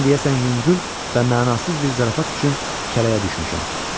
Mən deyəsən yüngül və mənasız bir zarafat üçün kələyə düşmüşəm.